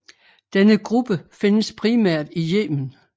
Denne gruppe findes primært i Yemen